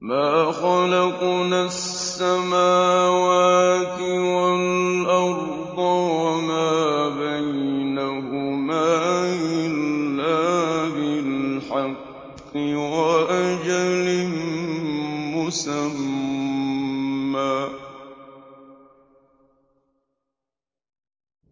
مَا خَلَقْنَا السَّمَاوَاتِ وَالْأَرْضَ وَمَا بَيْنَهُمَا إِلَّا بِالْحَقِّ وَأَجَلٍ مُّسَمًّى ۚ